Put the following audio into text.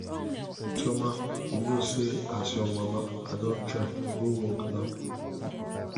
chioma you know say as your mama i don try go work now